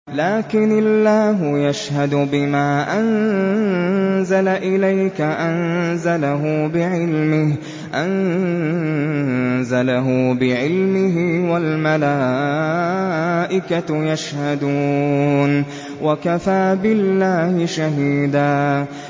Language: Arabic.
لَّٰكِنِ اللَّهُ يَشْهَدُ بِمَا أَنزَلَ إِلَيْكَ ۖ أَنزَلَهُ بِعِلْمِهِ ۖ وَالْمَلَائِكَةُ يَشْهَدُونَ ۚ وَكَفَىٰ بِاللَّهِ شَهِيدًا